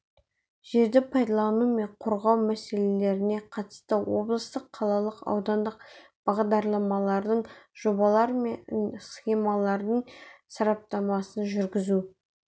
жерді пайдалану мен қорғау мәселелеріне қатысты облыстық қалалық аудандық бағдарламалардың жобалар мен схемалардың сараптамасын жүргізу